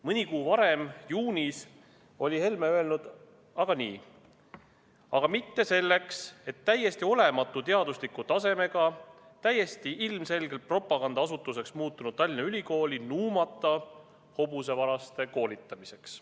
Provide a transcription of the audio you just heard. " Mõni kuu varem, juunis, oli Helme öelnud aga nii: "Aga mitte selleks, et täiesti olematu teadusliku tasemega, täiesti ilmselgelt propagandaasutuseks muutunud Tallinna Ülikooli nuumata hobusevaraste koolitamiseks.